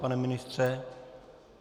Pane ministře?